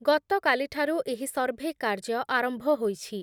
ଗତକାଲିଠାରୁ ଏହି ସର୍ଭେ କାର୍ଯ୍ୟ ଆରମ୍ଭ ହୋଇଛି ।